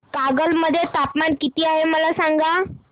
कागल मध्ये तापमान किती आहे मला सांगा